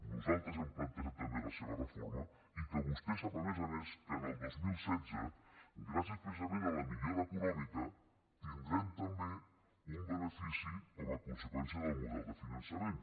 nosaltres hem plantejat també la seva reforma i que vostè sap a més a més que en el dos mil setze gràcies precisament a la millora econòmica tindrem també un benefici com a conseqüència del model de finançament